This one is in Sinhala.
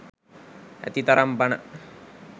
ඇතිතරම් බණ.